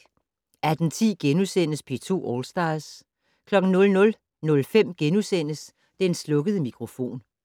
18:10: P2 All Stars * 00:05: Den slukkede mikrofon *